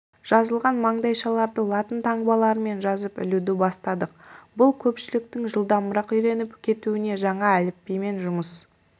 жазылған маңдайшаларды латын таңбаларымен жазып ілуді бастадық бұл көпшіліктің жылдамырақ үйреніп кетуіне жаңа әліпбимен жұмыс